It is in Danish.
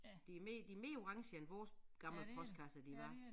De de mere orange end vores gamle postkasser de var